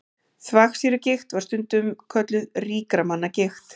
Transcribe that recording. Þvagsýrugigt var stundum kölluð ríkra manna gigt.